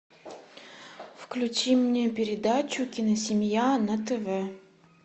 включи мне передачу киносемья на тв